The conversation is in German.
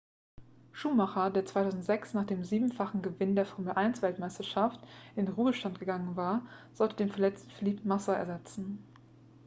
schumacher der 2006 nach dem siebenfachen gewinn der formel-1-weltmeisterschaft in den ruhestand gegangen war sollte den verletzten felipe massa ersetzen